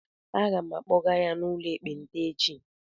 Aga m akpọga ya n'ụlọ ekpenta echi